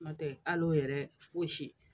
N'o tɛ al'o yɛrɛ fosi ye